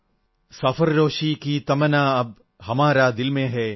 സർഫരോശി കി തമന്നാ അബ് ഹമാരേ ദിൽ മേ ഹൈ